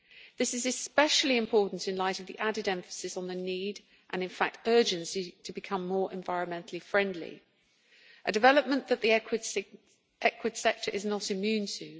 This is especially important in light of the added emphasis on the need and, in fact, urgency to become more environmentally friendly, a development that the equid sector is not immune to.